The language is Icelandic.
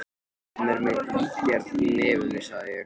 Hann er með ígerð í nefinu, sagði ég.